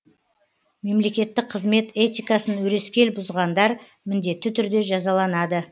мемлекеттік қызмет этикасын өрескел бұзғандар міндетті түрде жазаланады